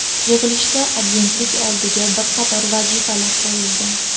Yig‘ilishda Agentlik oldiga bir qator vazifalar qo‘yildi.